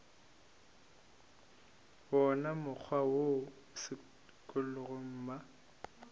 wona mokgwa wo sekolong mma